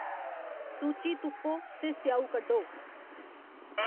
सूची तुप्पो ते स्येऊ कड्ढो